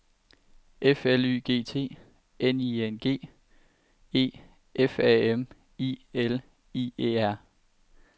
F L Y G T N I N G E F A M I L I E R